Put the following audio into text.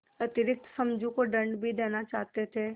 अतिरिक्त समझू को दंड भी देना चाहते थे